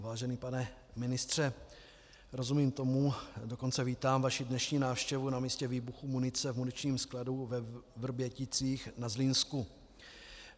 Vážený pane ministře, rozumím tomu, dokonce vítám vaši dnešní návštěvu na místě výbuchu munice v muničním skladu ve Vrběticích na Zlínsku.